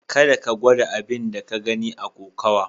Kada ka gwada abin da ka gani a kokowa.